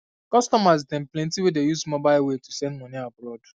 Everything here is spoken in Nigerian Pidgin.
customer dem plenty wey dey use mobile way to send moni abroad